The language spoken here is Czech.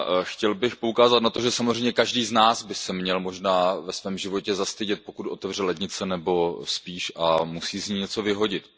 Chtěl bych poukázat na to, že samozřejmě každý z nás by se měl možná ve svém životě zastydět, pokud otevře lednici a musí z ní něco vyhodit.